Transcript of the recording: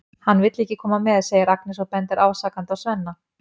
Hann vill ekki koma með, segir Agnes og bendir ásakandi á Svenna.